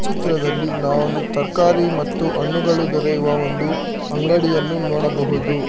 ಚಿತ್ರದಲ್ಲಿ ನಾವೋಂದು ತರಕಾರಿ ಮತ್ತು ಅಣ್ಣುಗಳು ದೊರೆಯುವ ಒಂದು ಅಂಗಡಿಯನ್ನು ನೋಡಬಹುದು.